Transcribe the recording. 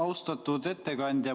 Austatud ettekandja!